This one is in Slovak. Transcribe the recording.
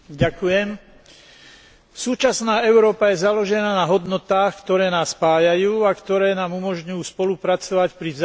Súčasná Európa je založená na hodnotách, ktoré nás spájajú a ktoré nám umožňujú spolupracovať pri vzájomnom rešpektovaní sa.